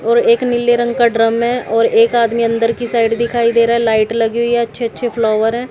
और एक नीले रंग का ड्रम है और एक आदमी अंदर की साइड दिखाई दे रहा है लाइट लगी हुई अच्छे अच्छे फ्लावर है।